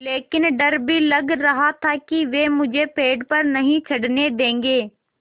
लेकिन डर भी लग रहा था कि वे मुझे पेड़ पर नहीं चढ़ने देंगे